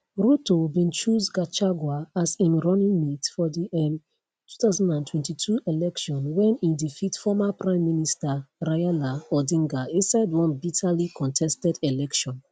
ruto bin choose gachagua as im runningmate for di um 2022 election wen e defeat former prime minister raila odinga inside one bitterly contested election